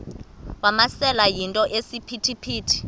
wamasele yinto esisiphithi